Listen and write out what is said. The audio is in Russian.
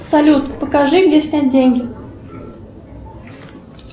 салют покажи где снять деньги